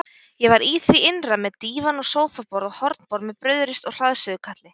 Ég var í því innra með dívan og sófaborð og hornborð með brauðrist og hraðsuðukatli.